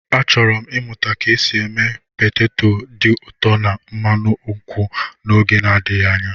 Achọrọ m ịmụta ka esi eme peteto dị ụtọ na mmanụ nkwụ n'oge adịghị anya.